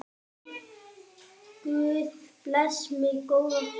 Guð blessi minn góða frænda.